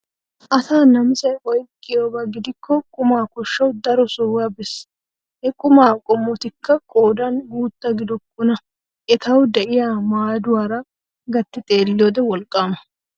Asa namisay oyqqiyabba giddiko quma koshawu daro sohuwa bees. He quma qomotikka qoodan guutta gidokkona ettawu de'iya maadduwara gatti xeelliyode wolqqama.